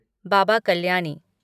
Baba Kalyani